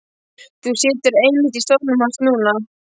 Þú situr einmitt í stólnum hans núna.